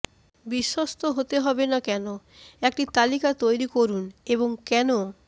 বিশ্বস্ত হতে হবে না কেন একটি তালিকা তৈরি করুন এবং কেন